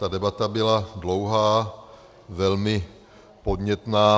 Ta debata byla dlouhá, velmi podnětná.